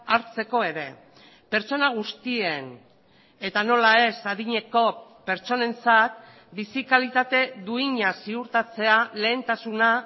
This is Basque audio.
hartzeko ere pertsona guztien eta nola ez adineko pertsonentzat bizi kalitate duina ziurtatzea lehentasuna